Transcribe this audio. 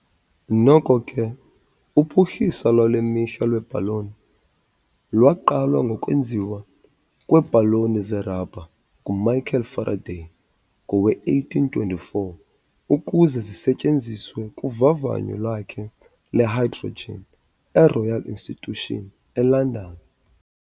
Noko ke, uphuhliso lwale mihla lweebhaloni lwaqala ngokwenziwa kweebhaloni zerabha nguMichael Faraday ngowe-1824 ukuze zisetyenziswe kuvavanyo lwakhe lwehydrogen eRoyal Institution eLondon.